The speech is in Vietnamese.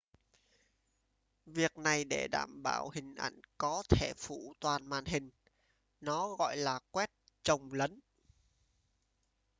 việc này để đảm bảo hình ảnh có thể phủ toàn màn hình nó gọi là quét chồng lấn